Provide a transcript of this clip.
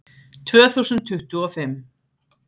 Tvö þúsund tuttugu og fimm